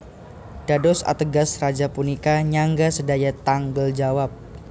Dados ateges Raja punika nyangga sedaya tanggel jawab